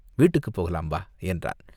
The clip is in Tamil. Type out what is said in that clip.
வீட்டுக்குப் போகலாம், வா!" என்றான்.